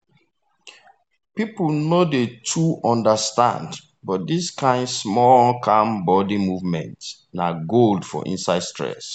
people no dey too understand but this kind small calm body movement na gold for inside stress.